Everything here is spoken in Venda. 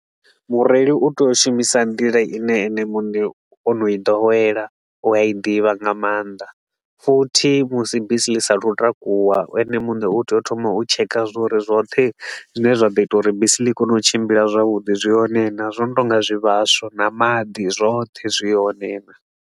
Mureili u tea u shumisa nḓila i ne ene muṋe o no i ḓowela u a i ḓivha nga maanḓa futhi musi bisi ḽi sa a thu u takuwa, ene muṋe u tea u thoma u checker zwa uri zwoṱhe zwine zwa ḓo ita uri bisi ḽi i kone u tshimbila zwavhuḓi zwi hone naa, zwo no tou nga zwivhaswa na maḓi zwoṱhe zwi hone naa.